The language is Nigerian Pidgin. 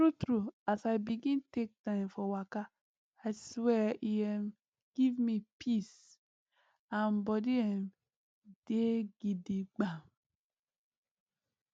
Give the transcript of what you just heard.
true true as i begin take time for waka i swear e um give me peace and body um dey gidigbam